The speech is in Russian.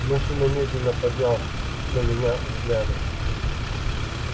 мужчина медленно поднял на меня взгляды